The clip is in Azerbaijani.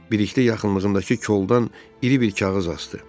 Birlikdə yaxınlığımdakı qoldan iri bir kağız asdı.